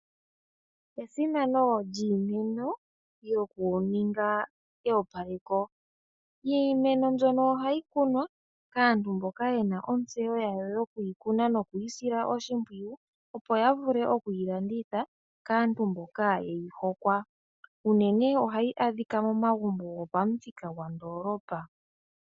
Esimano lyiimeno yoku ninga eyopaleko. Iimeno mbyoka ohayi kunwa kaantu mboka yena otseyo yawo yo kuyi kuna nokuyi sila oshimpwiyu, opo ya vule okuyi landitha kaantu mboka yeyi hokwa, uunene ohayi adhika momagumbo gopamuthika gondolopa.